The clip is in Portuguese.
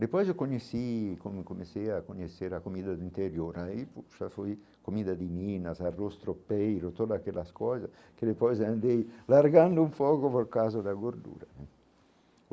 Depois eu conheci, como comecei a conhecer a comida do interior aí, já foi comida de minas, arroz tropeiro, toda aquelas coisas, que depois andei largando um fogo, por causa da gordura né.